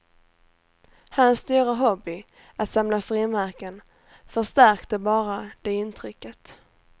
Hans stora hobby, att samla frimärken, förstärkte bara det intrycket.